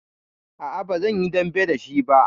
A'a, ba zan yi dambe da shi ba.